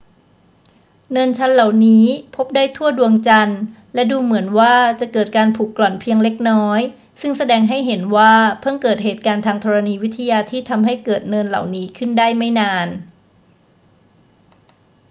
เนินชันเหล่านี้พบได้ทั่วดวงจันทร์ และดูเหมือนว่าจะเกิดการผุกร่อนเพียงเล็กน้อย ซึ่งแสดงให้เห็นว่าเพิ่งเกิดเหตุการณ์ทางธรณีวิทยาที่ทำให้เกิดเนินเหล่านี้ขึ้นได้ไม่นาน